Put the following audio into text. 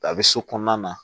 A bɛ so kɔnɔna na